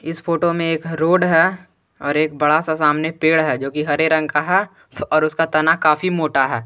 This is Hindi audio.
इस फोटो में एक रोड है और एक बड़ा सा सामने पेड़ है जो कि हरे रंग का है और उसका तना काफी मोटा है।